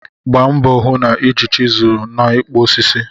Gbaa mbọ hụ na ị ji chiselu n'ikpụ osisi.